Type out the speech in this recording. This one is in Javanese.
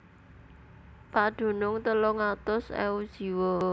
Padunung telung atus ewu jiwa